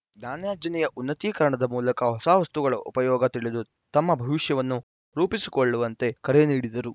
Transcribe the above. ಜ್ಞಾನಾರ್ಜನೆಯ ಉನ್ನತೀಕರಣದ ಮೂಲಕ ಹೊಸ ವಸ್ತುಗಳ ಉಪಯೋಗ ತಿಳಿದು ತಮ್ಮ ಭವಿಷ್ಯವನ್ನು ರೂಪಿಸಿಕೊಳ್ಳುವಂತೆ ಕರೆ ನೀಡಿದರು